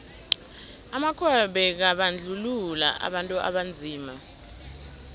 amakhuwa bekabandluua abantu abanzima